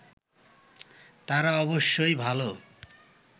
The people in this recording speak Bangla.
তারা অবশ্যই ভালো